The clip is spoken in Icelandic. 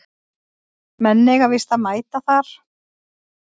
Menn eiga víst að mæta þar